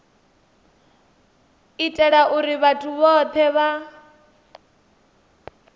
itela uri vhathu vhothe vha